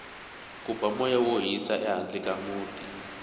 ku ba moya wo hisa ehandle ka muti